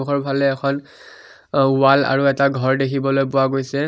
ওপৰফালে এখন ৱাল আৰু এটা ঘৰ দেখিবলৈ পোৱা গৈছে।